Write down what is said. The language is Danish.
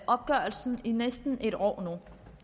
opgørelsen i næsten et år